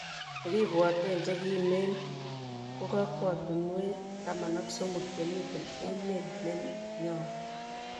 nekibwaten chekimen ko kokwatunwek taman ak somok chemiten emet nenyon